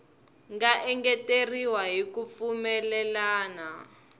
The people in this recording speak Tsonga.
nga engeteriwa hi ku pfumelelana